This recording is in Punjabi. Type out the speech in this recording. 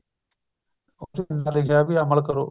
ਲਿਖਿਆ ਉਹ ਵੀ ਅਮਲ ਕਰੋ